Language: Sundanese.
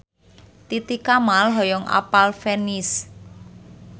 Titi Kamal hoyong apal Venice